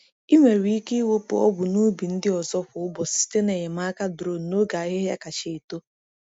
Ị nwere ike ịwụpụ ọgwụ n’ubi ndị ọzọ kwa ụbọchị site na enyemaka drone n’oge ahịhịa kacha eto.